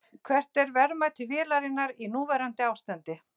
Hvert er verðmæti vélarinnar í núverandi ástandi?